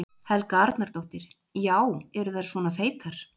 Helga Arnardóttir: Já, eru þær svona feitar?